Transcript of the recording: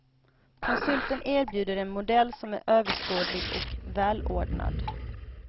Konsulten erbjuder en modell som är överskådlig och välordnad.